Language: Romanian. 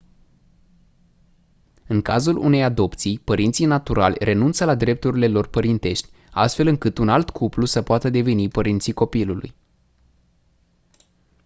în cazul unei adopții părinții naturali renunță la drepturile lor părintești astfel încât un alt cuplu să poată deveni părinții copilului